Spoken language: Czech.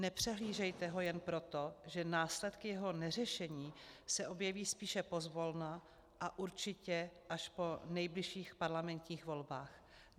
Nepřehlížejte ho jen proto, že následky jeho neřešení se objeví spíše pozvolna a určitě až po nejbližších parlamentních volbách.